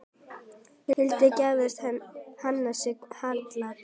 Hulda giftist Hannesi Hall.